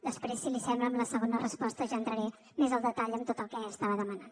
després si li sembla en la segona resposta ja entraré més al detall de tot el que estava demanant